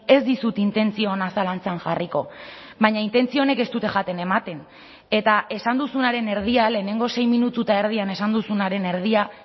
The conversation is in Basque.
ez dizut intentzio ona zalantzan jarriko baina intentzio onek ez dute jaten ematen eta esan duzunaren erdia lehenengo sei minutu eta erdian esan duzunaren erdia